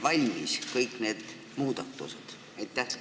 Kas teil on kõik need muudatused valmis?